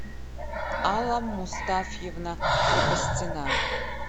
алла мустафьевна крепостина